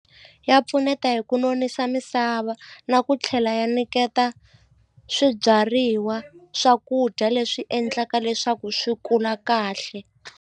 Ya pfuneta hi ku nonisa misava na ku tlhela ya nyiketa swibyariwa swakudya leswi endlaka leswaku swi kula kahle.